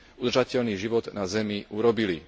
udržateľný život na Zemi urobili.